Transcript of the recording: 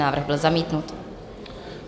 Návrh byl zamítnut.